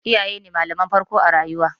Iyaye ne malaman farko a rayuwa.